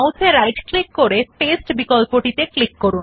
আবার ডান mouse click করে পাস্তে বিকল্প উপর ক্লিক করুন